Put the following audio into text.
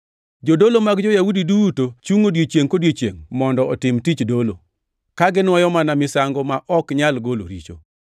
Jodolo mag jo-Yahudi duto chungʼ odiechiengʼ kodiechiengʼ mondo otim tich dolo, ka ginuoyo mana misango ma ok nyal golo richo.